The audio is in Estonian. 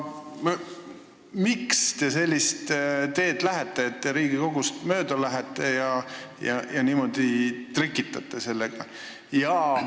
Miks te nüüd Riigikogust mööda lähete ja niimoodi trikitate sellega?